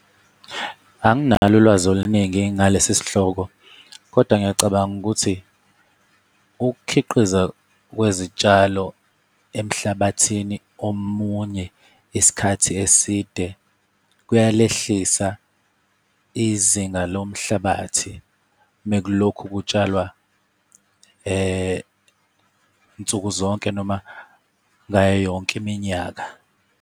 Anginalo ulwazi oluningi ngalesi sihloko kodwa ngiyacabanga ukuthi, ukukhiqiza kwezitshalo emhlabathini omunye isikhathi eside kuyalehlisa izinga lomhlabathi, mekulokhu kutshalwa nsuku zonke noma ngayo yonke iminyaka.